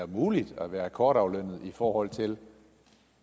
en mulighed at være akkordaflønnet i forhold til